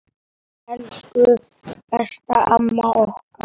Elsku besta amma okkar.